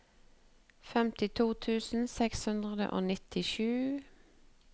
femtito tusen seks hundre og nittisju